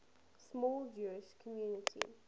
small jewish community